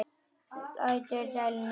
Lætur dæluna ganga.